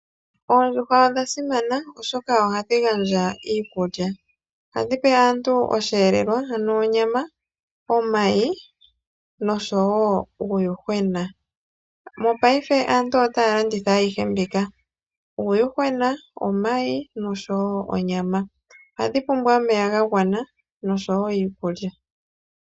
Oondjuhwa odha simana, oshoka ohadhi gandja iikulya. Ohadhi pe aantu osheelelwa, ano onyama, omayi, nosho wo uuyuhwena. Mopaife aantu otaya landitha ayihe mbika; uuyuhwena, omayi, nosho wo onyama. Ohadhi pumbwa omeya ga gwana, nosho wo iikulya.